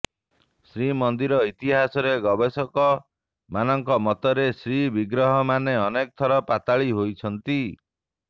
ଶ୍ରୀମନ୍ଦିର ଇତିହାସରେ ଗବେଷକ ମାନଙ୍କ ମତରେ ଶ୍ରୀବିଗ୍ରହ ମାନେ ଅନେକ ଥର ପାତାଳି ହୋଇଛନ୍ତି